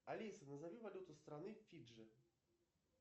алиса назови валюту страны фиджи